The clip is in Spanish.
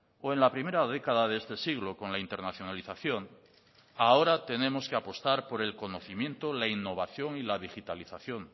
o en la primera década de este siglo con la internacionalización ahora tenemos que apostar por el conocimiento la innovación y la digitalización